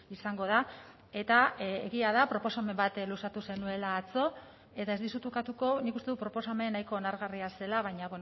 izango da eta egia da proposamen bat luzatu zenuela atzo eta ez dizut ukatuko nik uste dut proposamen nahiko onargarria zela baina